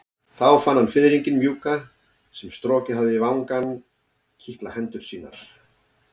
Þá fann hann fiðringinn mjúka sem strokið hafði vangann kitla hendur sínar.